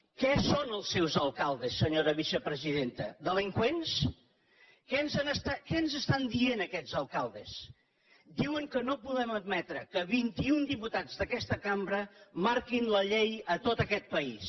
què són els seus alcaldes senyora vicepresidenta delinqüents què ens estan dient aquests alcaldes diuen que no podem admetre que vint i un diputats d’aquesta cambra marquin la llei a tot aquest país